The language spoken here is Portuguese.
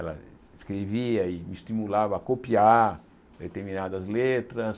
Ela escrevia e me estimulava a copiar determinadas letras.